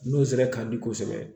N'o sira ka di kosɛbɛ